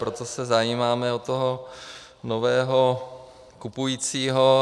Proto se zajímáme o toho nového kupujícího.